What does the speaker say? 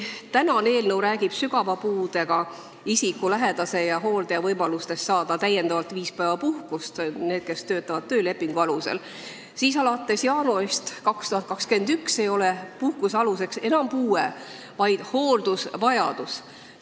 Tänane eelnõu räägib sügava puudega isiku lähedase või määratud hooldaja võimalustest saada täiendavalt viis päeva puhkust, kui nad töötavad töölepingu alusel, aga alates jaanuarist 2021 ei ole selle puhkuse aluseks enam puue, vaid hooldusvajadus.